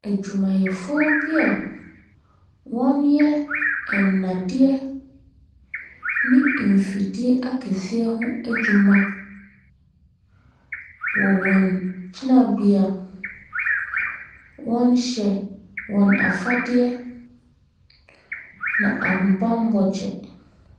Adwumayɛfoɔ bi a wɔyɛ nnadeɛ ne mfidie akɛseɛ ho adwuma wɔ wɔn gyinabea. Wɔhyɛ wɔn afadeɛ ne ahobammɔ kyɛ.